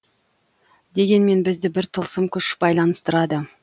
дегенмен бізді бір тылсым күш байланыстырады